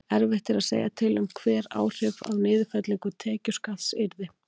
Erfitt er að segja til um hver áhrif af niðurfellingu tekjuskatts yrðu.